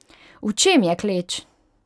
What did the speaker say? V čem je kleč?